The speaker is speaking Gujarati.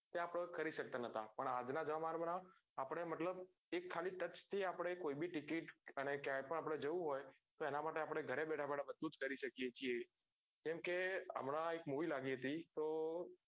એ આપડે કરી સકતા નાત તો આજ ના જમાના માં આપડે મતલબ એક ખાલી touch થી આપડે કોઈ બ ticket અને ક્યાંય પણ આપડે જવું હોય તો એના માટે આપડે ગારે બેઠા બેઠા બધું કરી શકીએ છીએ જેમ કે હમણાં એક movie લાગી હતી તો